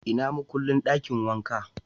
Ina makullin dakin wanka?